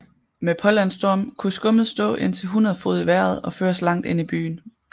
Med pålandsstorm kunne skummet stå indtil 100 fod i vejret og føres langt ind i byen